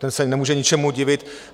Ten se nemůže ničemu divit.